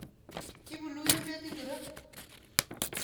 Ipunu emet ingoro?